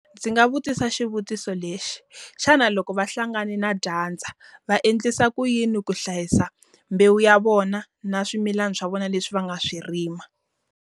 Ndzi nga vutisa xivutiso lexi, xana loko va hlangane na dyandza va endlisa ku yini ku hlayisa mbewu ya vona na swimilana swa vona leswi va nga swi rima?